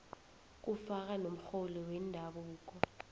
kufaka nomrholi wendabuko